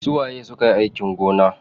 Su waye sukayi aikin gona?